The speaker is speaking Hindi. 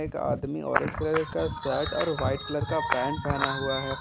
एक आदमी ऑरेंज कलर का शर्ट और वाइट कलर का पैंट पहना हुआ है।